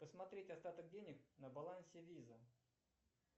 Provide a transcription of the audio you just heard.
посмотреть остаток денег на балансе виза